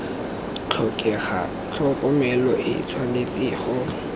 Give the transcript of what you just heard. tlhokega tlhokomelo e tshwanetse go